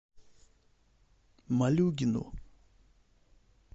малюгину